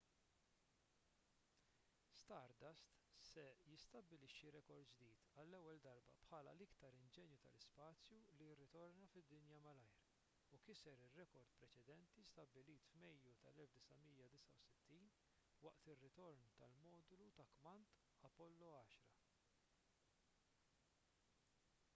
stardust se jistabbilixxi rekord ġdid għall-ewwel darba bħala l-iktar inġenju tal-ispazju li jirritorna fid-dinja malajr u kiser ir-rekord preċedenti stabbilit f'mejju tal-1969 waqt ir-ritorn tal-modulu ta' kmand apollo x